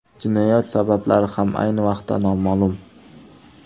Jinoyat sabablari ham ayni vaqtda noma’lum.